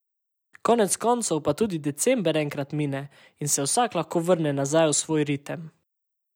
Konec koncev pa tudi december enkrat mine in se vsak lahko vrne nazaj v svoj ritem.